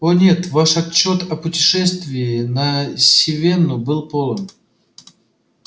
о нет ваш отчёт о путешествии на сивенну был полон